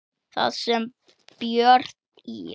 Þar sem Björn í